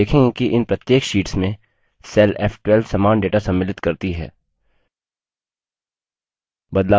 हम देखेंगे कि इन प्रत्येक शीट्स में cell f12 समान data सम्मिलित करती है